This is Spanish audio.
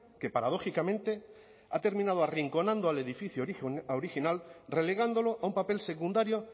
que paradójicamente ha terminado arrinconando al edificio original relegándolo a un papel secundario